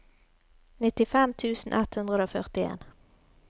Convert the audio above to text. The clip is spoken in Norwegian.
nittifem tusen ett hundre og førtien